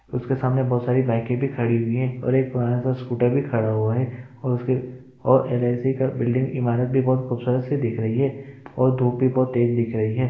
उसके सामने बहोत सारी बाइके भी खड़ी हुई हैं और एक पुराना सा स्कूटर भी खड़ा हुआ है और उसके और एल.आई.सी का बिल्डिंग इमारत भी बहोत खूबसूरत सी दिख रही है और धूप भी बहोत तेज दिख रही है।